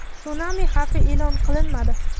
Sunami xavfi e’lon qilinmadi.